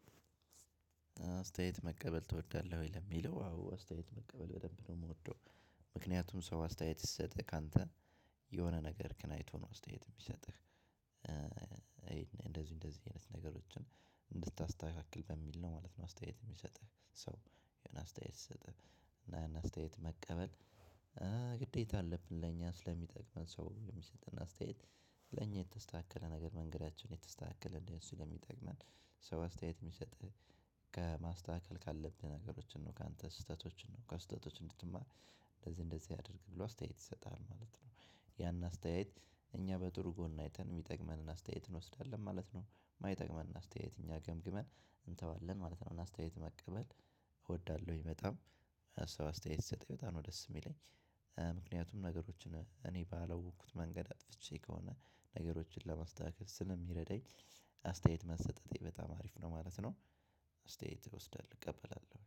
አስተያየት መቀበል ትወዳለህ ወይ ለሚለው አዎ አስተያየት መቀበል በደንብ ነው የምወደው። ምክንያቱም ሰው አስተያየት ሲሰጥህ ካንተ የሆነ ነገር ክን አይቶ ነው አስተያየት የሚሰጥህ። እንደዚህ እንደዚህ አይነት ነገሮችን እንድታስተካክል በሚል ነው ማለት ነው። አስተያየት የሚሰጥህ ሰው የሆነ አስተያየት ሲሰጥህ። እና ያን አስተያየት መቀበል ግዴታ አለብን ለእኛ ስለሚጠቅመን ሰው የሚሰጥን አስተያየት። ለኛ የተስተካከለ ነገር መንገዳችን የተስተካከለ እንዲሆን ስለሚጠቅመን ሰው አስተያየት የሚሰጥህ። ከማስተካከል ካለብህ ነገሮችን ነው ካንተ ስህተቶችን ነው ከስህተቶች እንድትማር። እንደዚህ እንደዚህ አድርግ ብሎ አስተያየት ይሰጣል ማለት ነው። ያን አስተያየት እኛ በጥሩ ጎን አይተን የሚጠቅመንን አስተያየት እንወስዳለን ማለት ነው። የማይጠቅመንን አስተያየት እኛ ገምግመን እንተዋለን ማለት ነው። እና አስተያየት መቀበል እወዳለሁኝ። በጣም ሰው አስተያየት ሲስጠኝ በጣም ነው ደስ የሚለኝ። ምክንያቱም ነገሮችን እኔ ባላወኩት መንገድ አጥፍቼ ከሆነ ነገሮችን ለማስተካከል ስለሚረዳኝ። አስተያየት መሰጠቴ በጣም አሪፍ ነው ማለት ነው። አስተያየት እወስዳለሁ እቀበላለሁ